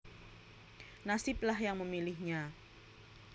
Nasiblah yang memilihnya